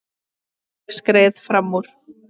Ég skreið fram úr.